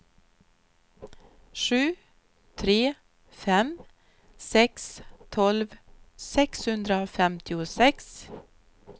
sju tre fem sex tolv sexhundrafemtiosex